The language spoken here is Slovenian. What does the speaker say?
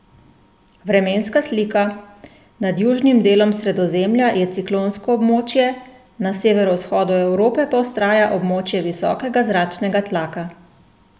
Vremenska slika:Nad južnim delom Sredozemlja je ciklonsko območje, na severovzhodu Evrope pa vztraja območje visokega zračnega tlaka.